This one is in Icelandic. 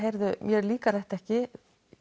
mér líkar þetta ekki